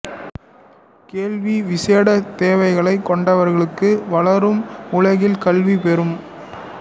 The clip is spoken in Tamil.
கேள்வி விசேட தேவைகளை கொண்டவர்களுக்கு வளரும் உலகில் கல்வி பெறும்